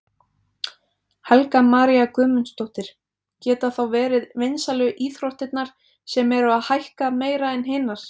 Helga María Guðmundsdóttir: Geta þá verið vinsælu íþróttirnar sem eru að hækka meira en hinar?